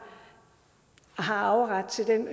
har arveret til den